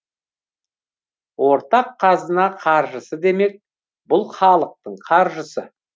ортақ қазына қаржысы демек бұл халық қаржысы